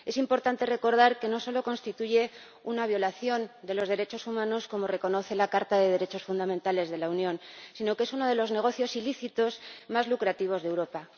Es importante recordar que no solo constituye una violación de los derechos humanos, como reconoce la Carta de los Derechos Fundamentales de la Unión, sino que es uno de los negocios ilícitos más lucrativos de Europa.